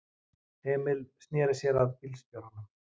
Emil sneri sér að bílstjóranum.